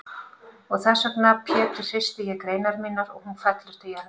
Og þessvegna Pétur hristi ég greinar mínar og hún fellur til jarðar.